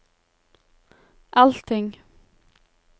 allting